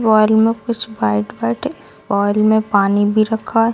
Bowl में कुछ white white इस बाउल में पानी भी रखा है।